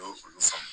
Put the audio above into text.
Olu faama